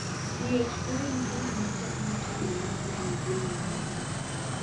BH4 en gino makonyo tiyo mar enzaim moko